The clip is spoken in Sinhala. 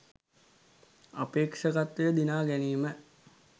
අපේක්ෂකත්වය දිනා ගැනීම